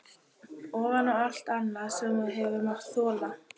Ofan á allt annað sem þú hefur mátt þola?